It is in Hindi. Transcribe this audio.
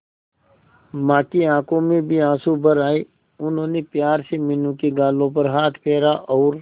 मां की आंखों में भी आंसू भर आए उन्होंने प्यार से मीनू के गालों पर हाथ फेरा और